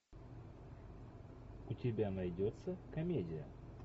у тебя найдется комедия